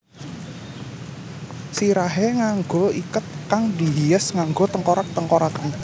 Sirahé nganggo iket kang dihias nganggo tengkorak tengkorakan